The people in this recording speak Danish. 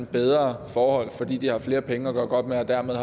bedre forhold fordi de har flere penge at gøre godt med og dermed